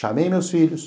Chamei meus filhos.